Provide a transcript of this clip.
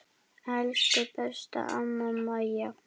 Elsku besta amma Maja.